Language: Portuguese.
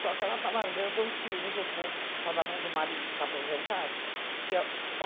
Só que ela tá largando os filhos um pouco, tá na mão do marido que tá aposentado.